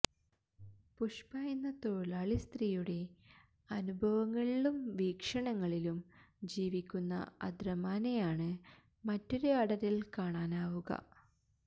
പുഷ്പ എന്ന തൊഴിലാളി സ്ത്രീയുടെ അനുഭവങ്ങളിലും വീക്ഷണങ്ങളിലും ജീവിക്കുന്ന അദ്രമാനെയാണ് മറ്റൊരു അടരില് കാണാനാവുക